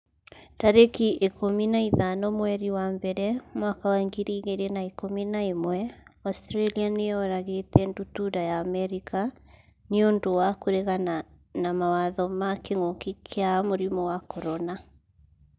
tarĩki ikũmi na ithano mweri wa mbere mwaka wa ngiri igĩrĩ na ikũmi na ĩmweAustralia nĩ yũragĩte ndutura ya Amerika 'nĩ ũndũ wa kũregana mawatho ma kĩngũki kia mũrimũ wa CORONA